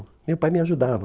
Meu pai me ajudava.